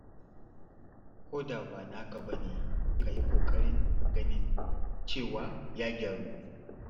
Ko ɗa ba naka ba ne, ka yi ƙoƙarin ganin cewa ya gyaru.